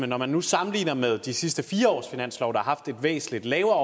når man nu sammenligner med de sidste fire års finanslove der har haft et væsentlig lavere